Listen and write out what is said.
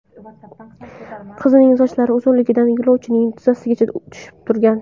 Qizning sochlari uzunligidan yo‘lovchining tizzasigacha tushib turgan.